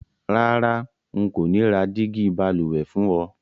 Rárá, n kò ni ra dígí balùwè fún o